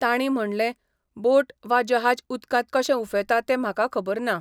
तांणी म्हणलें, बोट वा जहाज उदकांत कशें उफेंता तें म्हाका खबर ना.